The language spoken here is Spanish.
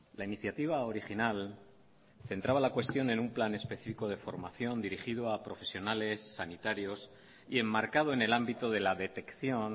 la iniciativa original centraba la cuestión en un plan específico de formación dirigido a profesionales sanitarios y enmarcado en el ámbito de la detección